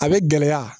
A bɛ gɛlɛya